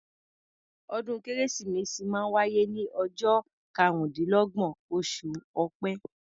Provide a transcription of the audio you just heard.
Ọdún kérésìmesì máa ń wáyé ní ọjọ́ karúndínlọ́gbọ̀n, oṣù ọpẹ́